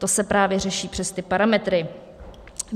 To se právě řeší přes ty parametry.